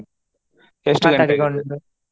.